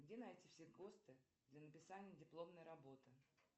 где найти все госты для написания дипломной работы